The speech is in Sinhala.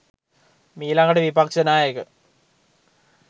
මීලඟට විපක්‍ෂනායක